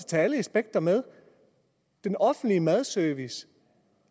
tage alle aspekter med den offentlige madservice